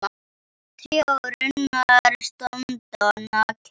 Tré og runnar standa nakin.